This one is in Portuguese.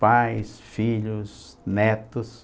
pais, filhos, netos.